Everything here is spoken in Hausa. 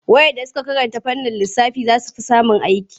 Waɗanda suka karanta fannin lissafi za su fi samun aiki./